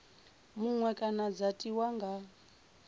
muṅwe kana dza tiwa nga